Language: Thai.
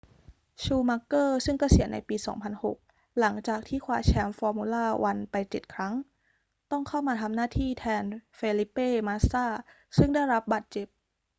ชูมัคเกอร์ซึ่งเกษียณในปี 2006 หลังจากที่คว้าแชมป์ฟอร์มูล่าวันไปเจ็ดครั้ง ต้องเข้ามาทำหน้าที่แทนเฟลิเป้ มาสซาซึ่งได้รับบาดเจ็บ